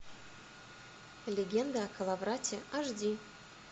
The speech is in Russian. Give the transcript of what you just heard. легенда о коловрате аш ди